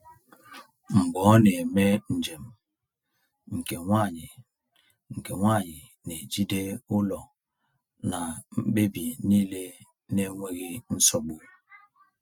Mgbe ọ na-eme njem, nke nwanyị nke nwanyị na-ejide ụlọ na mkpebi niile n’enweghị nsogbu.